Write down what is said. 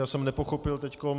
Já jsem nepochopil teď...